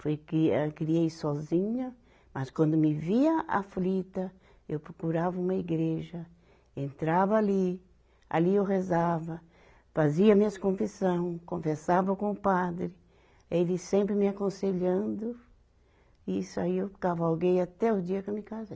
Foi que ela queria ir sozinha, mas quando me via aflita, eu procurava uma igreja, entrava ali, ali eu rezava, fazia minhas confissão, conversava com o padre, ele sempre me aconselhando, e isso aí eu cavalguei até o dia que eu me casei.